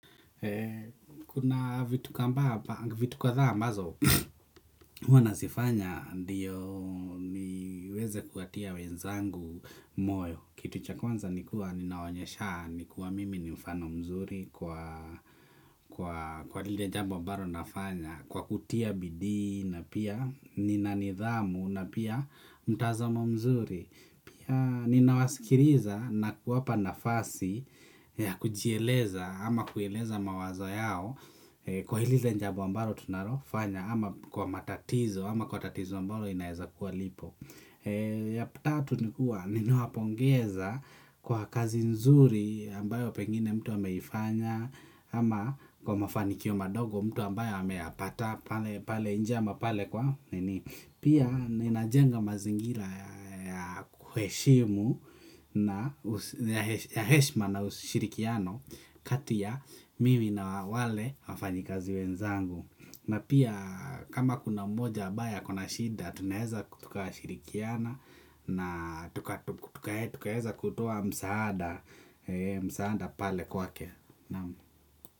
Kuna vitu kadhaa ambazo huwa nazifanya ndiyo niweze kuwatia wenzangu moyo kitu cha kwanza nikuwa ninaonyeshaa nikuwa mimi ni mfano mzuri kwa lile jambo ambalo nafanya kwa kutia bidii na pia nina nidhamu na pia mtazamo mzuri pia ninawasikiliza na kuwapa nafasi ya kujieleza ama kueleza mawazo yao kwa lile jambo ambalo tunalofanya ama kwa matatizo ama kwa tatizo ambalo linaweza kuwa lipo ya tatu ni kuwa nawapongeza kwa kazi nzuri ambayo pengine mtu ameifanya ama kwa mafanikio madogo mtu ambayo ameyapata pale pale nje ama pale kwa pia ninajenga mazingira ya kuheshimu na heshima na ushirikiano kati ya mimi na wale wafanyikazi wenzangu na pia kama kuna mmoja ambaye ako na shida tunaweza tukashirikiana na tukaweza kutoa msaada msaada pale kwake.